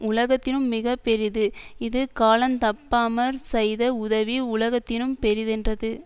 உலகத்தினும் மிக பெரிது இது கால தப்பாமற் செய்த உதவி உலகத்தினும் பெரிதென்றது